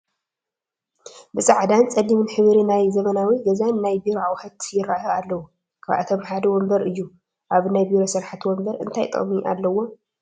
ብፃዕዳን ፀሊምን ሕብሪ ናይ ዘበናዊ ገዛን ናይ ቢሮን ኣቑሑት ይራኣዩ ኣለው፡፡ ካብኣቶም ሓደ ወንበር እዩ፡፡ ኣብ ናይ ቢሮ ስራሕቲ ወንበር እንታይ ጥቕሚ ኣለዎ?